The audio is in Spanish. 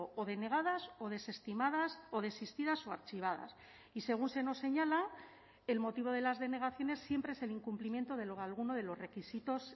o denegadas o desestimadas o desistidas o archivadas y según se nos señala el motivo de las denegaciones siempre es el incumplimiento de alguno de los requisitos